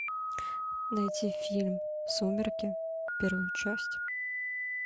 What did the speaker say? найти фильм сумерки первую часть